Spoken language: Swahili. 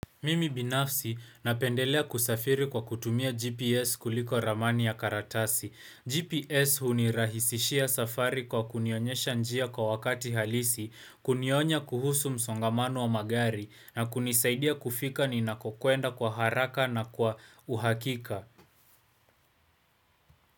Mimi binafsi napendelea kusafiri kwa kutumia GPS kuliko ramani ya karatasi. GPS hunirahisishia safari kwa kunionyesha njia kwa wakati halisi, kunionya kuhusu msongamano wa magari, na kunisaidia kufika ninakokuenda kwa haraka na kwa uhakika.